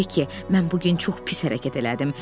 Beki, mən bu gün çox pis hərəkət elədim.